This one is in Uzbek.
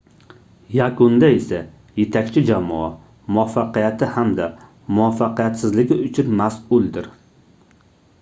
yakunda esa yetakchi jamoa muvaffaqiyati hamda muvaffaqiyatsizligi uchun masʼuldir